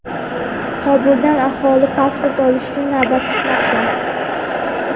Qobulda aholi pasport olish uchun navbat kutmoqda.